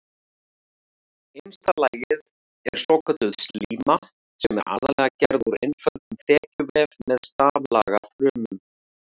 Innsta lagið er svokölluð slíma sem er aðallega gerð úr einföldum þekjuvef með staflaga frumum.